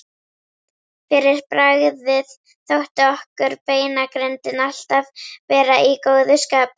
Fyrir bragðið þótti okkur beinagrindin alltaf vera í góðu skapi.